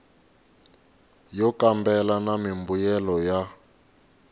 yo kambela na mimbuyelo ya